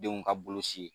Denw ka boloci